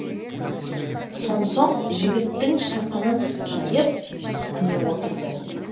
сонсоң жігіттің шапанын жайып үстіне отырды